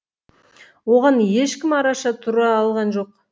оған ешкім араша тұра алған жоқ